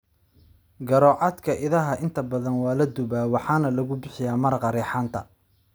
Garoocadka idaha inta badan waa la dubay waxaana lagu bixiyaa maraqa reexaanta.